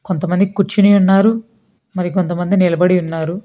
కొంతమంది కూర్చుని ఉన్నారు మరి కొంతమంది నిలబడి ఉన్నారు.